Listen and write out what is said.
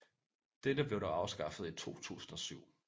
Dette blev dog afskaffet i 2007